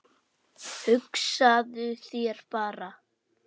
Hugsaðu þér bara